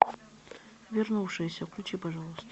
вернувшиеся включи пожалуйста